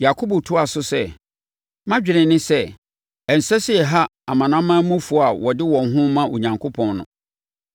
Yakobo toaa so sɛ, “Mʼadwene ne sɛ, ɛnsɛ sɛ yɛha amanamanmufoɔ a wɔde wɔn ho rema Onyankopɔn no.